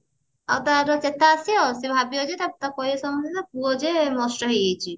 ଆଉ ତାର ଚେତା ଆସିବ ସେ ଭାବିବ ଯେ ପୁଅ ଯିଏ ନଷ୍ଟ ହେଇଯାଇଛି